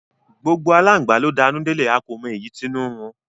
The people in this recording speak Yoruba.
Gbogbo alangba lo d'anu delẹ, a ko mo eyi t'inu nrun